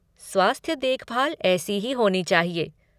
स्वास्थ्य देखभाल ऐसी ही होनी चाहिए।